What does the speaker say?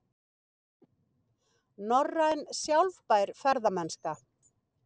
Norræn sjálfbær ferðamennska